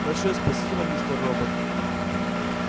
большое спасибо мистер робот